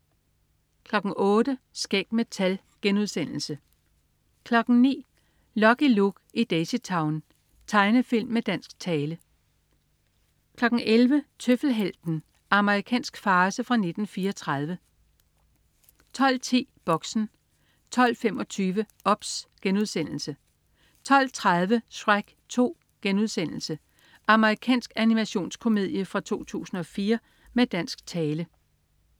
08.00 Skæg med tal* 09.00 Lucky Luke i Daisytown. Tegnefilm med dansk tale 11.00 Tøffelhelten. Amerikansk farce fra 1934 12.10 Boxen 12.25 OBS* 12.30 Shrek 2.* Amerikansk animationskomedie fra 2004 med dansk tale